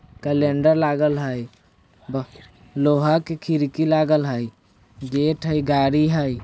कैंलडर लागल हय ब लोहा के खिड़की लागल हय गेट हय गाड़ी हय।